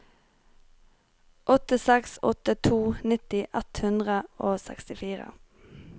åtte seks åtte to nitti ett hundre og sekstifire